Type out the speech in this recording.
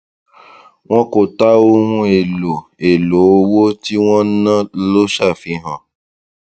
wọn kò tà ohun èlò èlò owó tí wọn ná ló ṣàfihàn